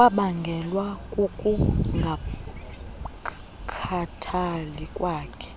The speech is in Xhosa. kwabangelwa kukungakhathali kwakhe